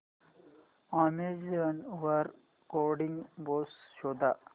Amazon वर coding books शोधा